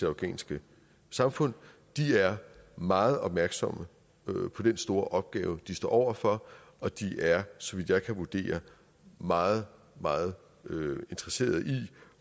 afghanske samfund de er meget opmærksomme på den store opgave de står over for og de er så vidt jeg kan vurdere meget meget interesserede i